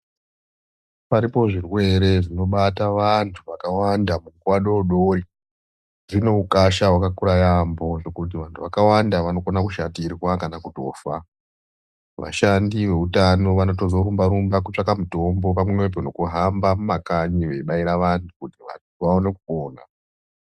Paripo zvirwere zvinobata vantu vakawanda munguwa dodori dzine ukasha hwakakura yaamho hwekuti vantu vakawanda vanokona kushatirwa kana kutofa. Vashandi veutano vanotozorumba rumba kutsvaka mutombo pamwepo nekuhamba mumakanyi veibaira vantu kuti vaone kupona.